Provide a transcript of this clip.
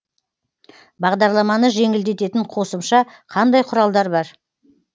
бағдарламаны жеңілдететін қосымша қандай құралдар бар